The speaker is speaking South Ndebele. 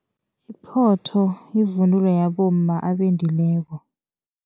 Iphotho yivunulo yabomma abendileko.